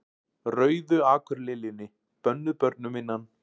Rauðu akurliljunni, bönnuð börnum innan